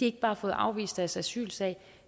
ikke bare fået afvist deres asylsag